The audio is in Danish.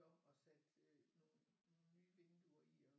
Om og sat nogle nye vinduer i og